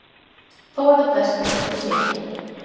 Þó er það best eitt og sér.